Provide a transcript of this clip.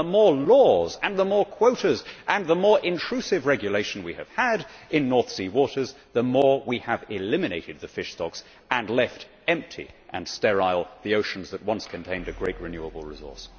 The more laws and the more quotas and the more intrusive regulation we have had in North Sea waters, the more we have eliminated the fish stocks and left empty and sterile the oceans that once contained a great renewable resource.